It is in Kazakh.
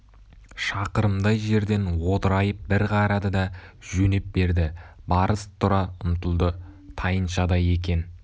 шақырымдай жерден одырайып бір қарады да жөнеп берді барыс тұра ұмтылды тайыншадай екен